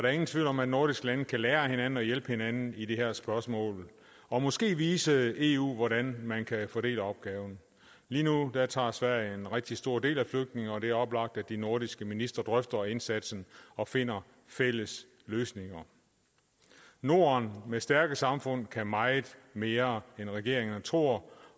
er ingen tvivl om at nordiske lande kan lære af hinanden og hjælpe hinanden i de her spørgsmål og måske vise eu hvordan man kan fordele opgaven lige nu tager sverige en rigtig stor del af flygtningene og det er oplagt at de nordiske ministre drøfter indsatsen og finder fælles løsninger norden med stærke samfund kan meget mere end regeringerne tror